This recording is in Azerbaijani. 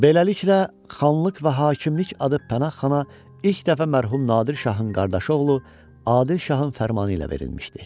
Beləliklə, xanlıq və hakimlik adı Pənahxana ilk dəfə mərhum Nadir Şahın qardaşı oğlu Adil Şahın fərmanı ilə verilmişdi.